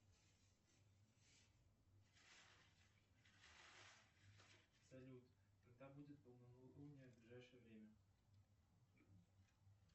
салют когда будет полнолуние в ближайшее время